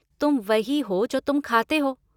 तुम वही हो जो तुम खाते हो।